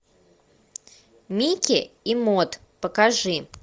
микки и мод покажи